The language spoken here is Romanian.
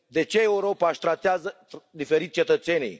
De ce Europa își tratează diferit cetățenii?